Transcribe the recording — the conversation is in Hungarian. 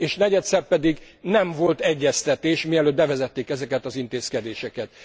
És negyedszer pedig nem volt egyeztetés, mielőtt bevezették ezeket az intézkedéseket.